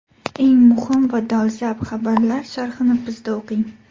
Eng muhim va dolzarb xabarlar sharhini bizda o‘qing.